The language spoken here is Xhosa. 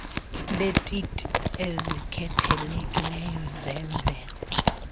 leetiti ezikhethekileyo zenzelwe